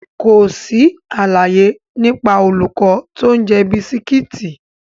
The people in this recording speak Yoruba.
Kò sí àlàyé nípa olùkọ́ tó ń jẹ bisikíìtì.